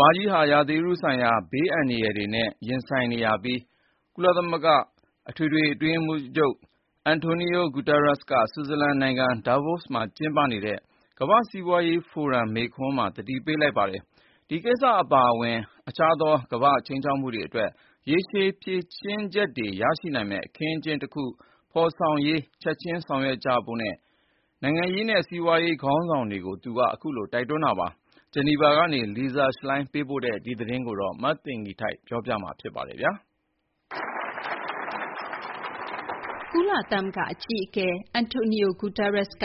ဘာကြီးဟာ ရာသီဥတုဆိုင်ရာဘေးအန္တရာယ်တွေနဲ့ ရင်ဆိုင်နေရကြောင်း ကုလသမဂ္ဂအတွင်းရေးမှူးချုပ် Antonio Guterres က ဆွစ်ဇာလန်နိုင်ငံ Davos မှာကျင်းပနေတဲ့ ကမ္ဘာ့စီးပွားရေးဖိုရမ်မိန့်ခွန်းမှာ သတိပေးပါတယ်။ ဒီကိစ္စ ပါအဝင် တခြားသော ကမ္ဘာ့ခြိမ်းခြောက်မှုတွေအတွက် ရေရှည်ဖြေရှင်းချက်တွေ ရရှိနိုင်မယ့်အခင်းအကျင်းတခုဖော်ဆောင်ရေး ချက်ချင်းဆောင်ရွက်ကြဖို့ နိုင်ငံရေးနဲ့စီးပွားရေးခေါင်းဆောင်တွေကို သူက တိုက်တွန်းခဲ့ပါတယ်။ ဂျီနီဗာကနေ Lisa Schlein ပေးပို့တဲ့ သတင်းဆောင်းပါးကို မသိင်္ဂီထိုက်က တင်ပြပေးထားပါတယ်။ ကုလသမဂ္ဂအကြီးအကဲ Antonio Guterres က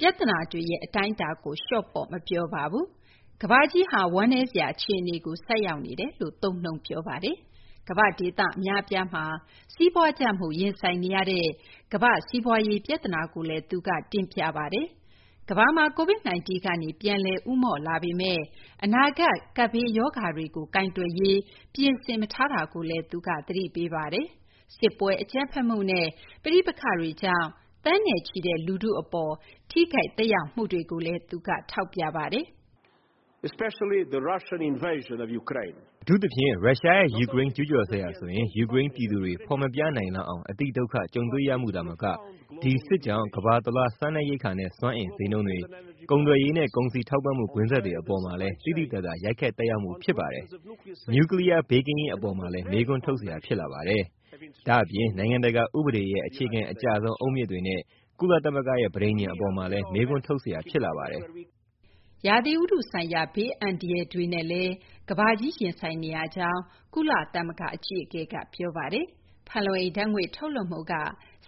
ပြဿနာတွေရဲ့အတိုင်းအတာကို လျှော့ပေါ့ မပြောပါဘူး။ ကမ္ဘာကြီးဟာ ဝမ်းနည်းစရာအခြေအနေကို ဆိုက်ရောက်နေတယ်လို့ သုံးနှုန်းပြောပါတယ်။ ကမ္ဘာ့ဒေသအများအပြားမှာ စီးပွားကျမှုရင်ဆိုင်နေရတဲ့ ကမ္ဘာ့စီးပွားရေးပြဿနာကိုလည်း သူက တင်ပြပါတယ်။ ကမ္ဘာမှာ Covid-19 ကနေ ပြန်လည် ဦးမော့လာပေမယ့် အနာဂတ်ကပ်ဘေးရောဂါတွေကို ကိုင်တွယ်ရးအတွက် ပြင်ဆင်မထားတာကိုလည်း သူက သတိပေးပါတယ်။ စစ်ပွဲ၊ အကြမ်းဖက်မှုနဲ့ပဋိပက္ခတွေကြောင့် သန်းနဲ့ချီတဲ့လူထု အပေါ် ထိခိုက်သက်ရောက်မှုတွေကိုလည်း သူက ထောက်ပြပါတယ်။ “အထူးသဖြင့် ရုရှားရဲ့ယူကရိန်းကျူးကျော်စစ်ဟာဆိုရင် ယူကရိန်း ပြည်သူတွေ ဖော်မပြနိုင်လောက်အောင် အတိဒုက္ခ ကြုံတွေ့ရမှုသာမက ဒီစစ်ကြောင့် ကမ္ဘာတလွှား စားနပ်ရိက္ခာနဲ့ စွမ်းအင်ဈေးနှုန်းတွေ၊ ကုန်သွယ်ရေးနဲ့ကုန်စည်ထောက်ပို့မှု ကွင်းဆက်တွေအပေါ်မှာလည်း သိသိသာသာ ရိုက်ခတ်သက်ရောက်မှု ဖြစ်ပါတယ်။ နျူကလီယား ဘေးကင်းရေးအပေါ်မှာလည်း မေးခွန်းထုတ်စရာ ဖြစ်လာပါတယ်။ ဒါ့အပြင် နိုင်ငံတကာဥပဒေရဲ့အခြေခံအကျဆုံး အုတ်မြစ်တွေနဲ့ ကုလသမဂ္ဂရဲ့ပဋိညာဉ်အပေါ်မှာလည်း မေးခွန်းထုတ်စရာ ဖြစ်လာပါတယ်။” ရာသီဥတုဆိုင်ရာ ဘေးအန္တရာယ်တွေနဲ့လည်း ကမ္ဘာကြီးရင်ဆိုင်နေရကြောင်း ကုလသမဂ္ဂအကြီးအကဲက ပြောပါတယ်။ ဖန်လုံအိမ်ဓာတ်ငွေ့ထုတ်လွှတ်မှုက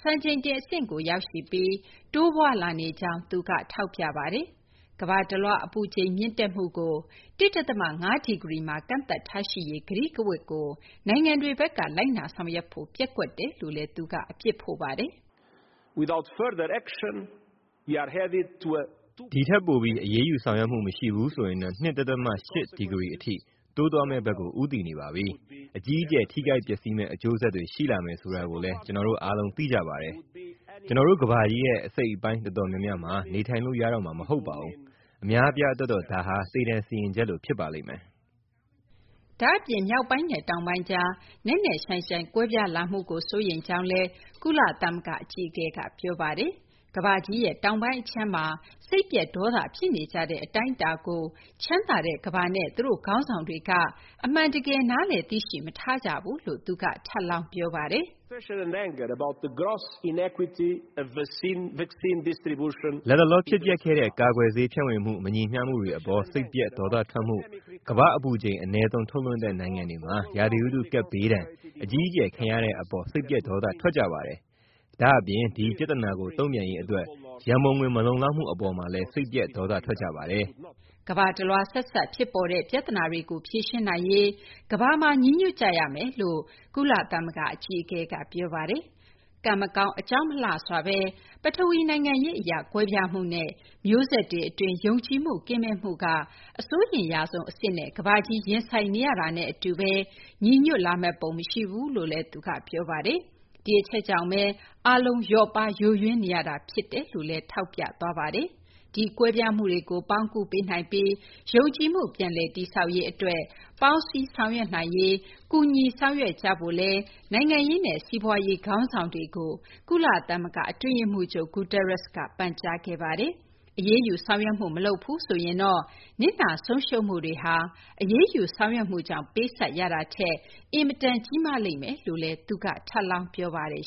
စံချိန်တင်အဆင့်ကိုရောက်ရှိပြီး တိုးပွားလာနေကြောင်း သူက ထောက်ပြပါတယ်။ ကမ္ဘာတလွှား အပူချိန်မြင့်တက်မှုကို ၁.၅ ဒီဂရီမှာ ကန့်သတ်ထားရှိရေး ကတိကဝတ်ကို နိုင်ငံတွေဘက်က လိုက်နာဆောင်ရွက်ဖို့ ပျက်ကွက်တယ်လို့လည်း သူက အပြစ်ဖို့ပါတယ်။ “ဒီထက်ပိုပြီး အရေးယူဆောင်ရွက်မှုမရှိဘူးဆိုရင်တော့ ၂.၈ ဒီဂရီအထိ တိုးသွားမယ့်ဘက်ကို ဦးတည်နေပါပြီ။ အကြီးအကျယ်ထိခိုက်ပျက်စီးမယ့် အကျိုးဆက်တွေ ရှိလာမယ်ဆိုတာကိုလည်း ကျနော်တို့ အားလုံး သိကြပါတယ်။ ကျနော်တို့ကမ္ဘာကြီးရဲ့ အစိတ်အပိုင်းအတော်များများမှာ နေထိုင်လို့ရတော့မှာ မဟုတ်ပါဘူး။ အများအပြားအတွက်တော့ ဒါဟာ သေဒဏ်စီရင်ချက်လို ဖြစ်ပါလိမ့်မယ်။” ဒါ့အပြင် မြောက်ပိုင်းနဲ့တောင်ပိုင်းကြား နက်နက်ရှိုင်းရှိုင်းကွဲပြားလာမှုကို စိုးရိမ်ကြောင်းလည်း ကုလသမဂ္ဂအကြီးအကဲက ပြောပါတယ်။ ကမ္ဘာကြီးရဲ့တောင်ပိုင်းအခြမ်းမှာ စိတ်ပျက်ဒေါသဖြစ်နေကြတဲ့အတိုင်းအတာကို ချမ်းသာတဲ့ ကမ္ဘာနဲ့ သူတို့ခေါင်းဆောင်တွေက အမှန်တကယ် နားလည်သိရှိမထားကြဘူးလို့လည်း သူက ထပ်လောင်း ပြောပါတယ်။ “လတ်တလောဖြစ်ပျက်ခဲ့တဲ့ ကာကွယ်ဆေးဖြန့်ဝေမှု မညီမျှမှုတွေအပေါ် စိတ်ပျက်ဒေါသထွက်မှု၊ ကမ္ဘာ့အပူချိန် အနည်းဆုံးထုတ်လွှတ်တဲ့နိုင်ငံတွေမှာ ရာသီဥတုကပ်ဘေးဒဏ် အကြီးအကျယ်ခံရတဲ့အပေါ် စိတ်ပျက်ဒေါသထွက်ကြပါတယ်။ ဒါ့အပြင် ဒီပြဿနာကိုတုံ့ပြန်ရေးအတွက် ရန်ပုံငွေမလုံလောက်မှု အပေါ်မှာလည်း စိတ်ပျက်ဒေါသထွက်ကြပါတယ်။” ကမ္ဘာတလွှား ဆက်စပ်ဖြစ်ပေါ်တဲ့ပြဿနာတွကို ဖြေရှင်းနိုင်ရေး ကမ္ဘာမှာညီညွတ်ကြရမယ်လို့လည်း ကုလသမဂ္ဂ အကြီးအကဲက ပြောပါတယ်။ ကံမကောင်းအကြောင်းမလှစွာ ပထဝီနိုင်ငံရေးအရကွဲပြားမှုနဲ့ မျိုးဆက်တွေအတွင်း ယုံကြည်မှုကင်းမဲ့မှုက အစိုးရိမ်ရဆုံးအဆင့်နဲ့ ကမ္ဘာကြီးရင်ဆိုင်နေရတာနဲ့အတူ ညီညွတ်လာမယ့်ပုံ မရှိဘူးလို့လည်း သူက ပြောပါတယ်။ ဒီအချက်ကြောင့်ပဲ အားလုံး လျော့ပါးယိုယွင်းနေရတာ ဖြစ်တယ်လို့လည်း ထောက်ပြသွားပါတယ်။ ဒီကွဲပြားမှုတွေကိုပေါင်းကူးပေးနိုင်ပြီး ယုံကြည်မှု ပြန်လည်တည်ဆောက်ရေး ပေါင်းစည်းဆောင်ရွက်နိုင်ရေးအတွက် ကူညီဆောင်ရွက်ကြဖို့လည်း နိုင်ငံရေးနဲ့ စီးပွားရေးခေါင်းဆောင်တွေကို ကုလသမဂ္ဂအတွင်းရေးမှူးချုပ် Guterres က ပန်ကြားခဲ့ပါတယ်။ အရေးယူဆောင်ရွက်မှုမလုပ်ဘူးဆိုရင်တော့ နစ်နာဆုံးရှုံးမှုတွေဟာ အရေးယူဆောင်ရွက်မှုကြောင့်ပေးဆပ်ရတာထက် အင်မတန်ကြီးမားလိမ့်မယ်လို့လည်း သူက ထပ်လောင်းပြောပါတယ်